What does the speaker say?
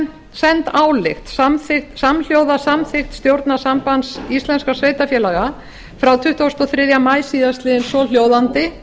sent álit samhljóða samþykkt stjórnar sambands íslenskra sveitarfélaga frá tuttugasta og þriðja maí síðastliðinn svohljóðandi